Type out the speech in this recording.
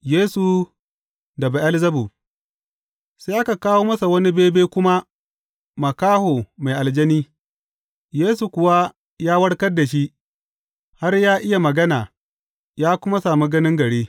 Yesu da Be’elzebub Sai aka kawo masa wani bebe kuma makaho mai aljani, Yesu kuwa ya warkar da shi, har ya iya magana ya kuma sami ganin gari.